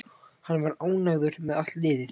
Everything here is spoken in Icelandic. Hann var ánægður með allt liðið.